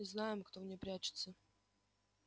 и знаем кто в ней прячется